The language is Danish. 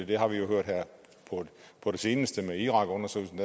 det har vi jo hørt her på det seneste med irakundersøgelsen